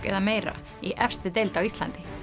eða meira í efstu deild á Íslandi